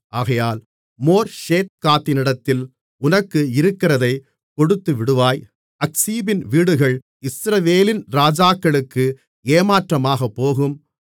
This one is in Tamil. ஆகையால் மோர்ஷேத்காத்தினிடத்தில் உனக்கு இருக்கிறதைக் கொடுத்துவிடுவாய் அக்சீபின் வீடுகள் இஸ்ரவேலின் ராஜாக்களுக்கு ஏமாற்றமாகப்போகும்